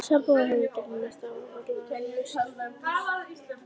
Sambúðin hefur gengið að mestu áfallalaust.